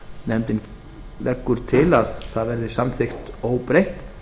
nefndin leggur til að það verði samþykkt óbreytt